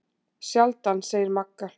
Sjaldan, segir Magga.